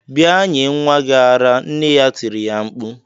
"Bia nye nwa gi ara" nne ya tiri ya mkpu.